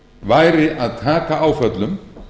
væri að taka áföllum